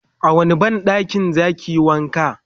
a wani banɗakin zakiyi wanka?